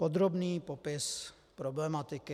Podrobný popis problematiky.